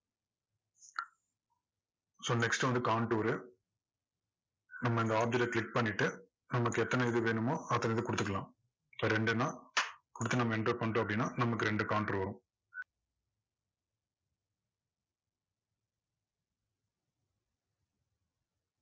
so next வந்து contour உ நம்ம இந்த object அ click பண்ணிட்டு நமக்கு எத்தனை இது வேணுமோ அத்தனை இது கொடுத்துக்கலாம் இப்போ ரெண்டுன்னா கொடுத்து நம்ம enter பண்ணிட்டோம் அப்படின்னா நமக்கு ரெண்டு contour வரும்.